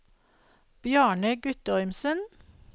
Bjarne Guttormsen